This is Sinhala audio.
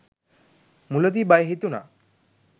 මුලදී බය හිතුණා